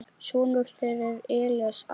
Sonur þeirra er Elías Ari.